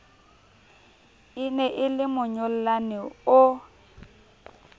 e ne e lemonyollane o